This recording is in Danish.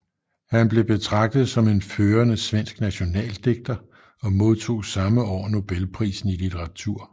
Han blev betragtet som en førende svensk nationaldigter og modtog samme år nobelprisen i litteratur